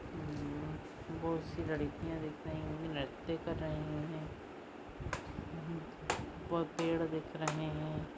बहुतसी लडकीया दिख रही है नृत्य कर रहे है व पेड दिख रहे है।